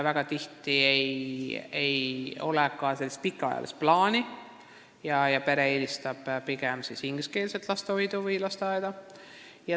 Väga tihti ei ole neil pikaajalisi plaane ja pered eelistavad ingliskeelset lastehoidu või lasteaeda.